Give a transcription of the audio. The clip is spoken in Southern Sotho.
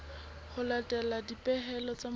ho latela dipehelo tsa molao